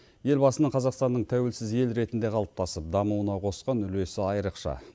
елбасының қазақстанның тәуелсіз ел ретінде қалыптасып дамуына қосқан үлесі айрықша